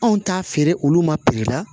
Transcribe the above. Anw t'a feere olu ma la